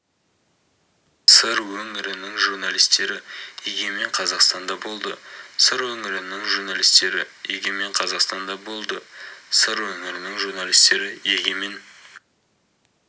сыр өңірінің журналистері егемен қазақстанда болды сыр өңірінің журналистері егемен қазақстанда болды сыр өңірінің журналистері егемен